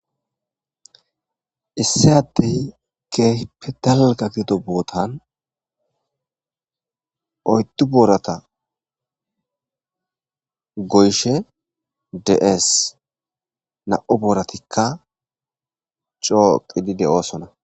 Issi adtey keepe dalgagido bootan oyttu boorata goyshe de'es na'o booratikka coo qidide oosona.